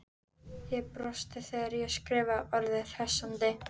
Ég brosti þegar ég skrifaði orðið hressandi.